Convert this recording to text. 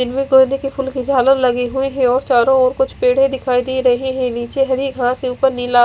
इनमें गेंदें कि फूल की झालर लगी हुई है और चारों ओर कुछ पेड़े दिखाई दे रहे हैं नीचे हरी घास है ऊपर नीला --